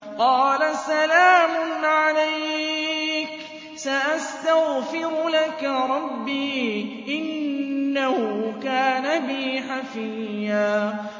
قَالَ سَلَامٌ عَلَيْكَ ۖ سَأَسْتَغْفِرُ لَكَ رَبِّي ۖ إِنَّهُ كَانَ بِي حَفِيًّا